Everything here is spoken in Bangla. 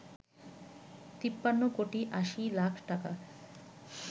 ৫৩ কোটি ৮০ লাখ টাকা